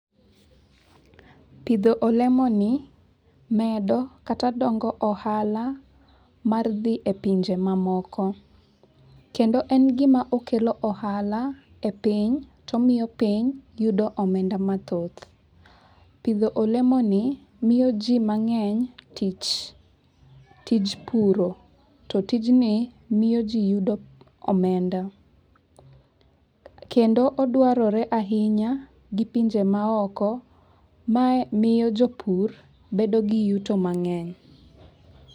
Pidho olemo ni medo kata dongo ohala mar dhi e pinje ma moko. Kendo en gima okelo ohala e piny to miyo piny yudo omenda mathoth. Pidho olemoni miyo ji mang'eny tich tij puro to tijni miyo ji yudo omenda. Kendo odwarore ahinya gi pinje ma oko. Mae miyo jopur bedo gi yuto mang'eny.